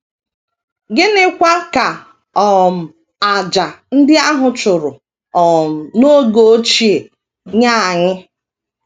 Gịnịkwa ka um àjà ndị a chụrụ um n’oge ochie nye anyị?